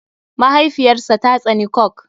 Mahaifiyar sa ta tsane coke.